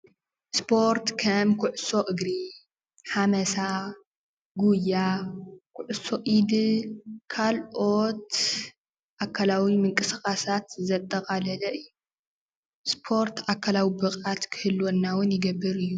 ስፖርት ከም ኩዕሶ እግሪ፣ ሓመሳ፣ ጉያ ፣ኩዕሶ ኢድ ካልኦት ኣካላዊ ምንቅስቓሳት ዘጠቓለለ እዩ ስፖርት ኣካላዊ ብቕዓት ክህልወና እውን ይገብር እዩ።